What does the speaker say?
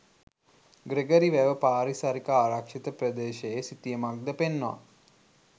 Gregory වැව පාරිසරික ආරක්ෂිත ප්‍රදේශයේ සිතියමක්ද පෙන්වා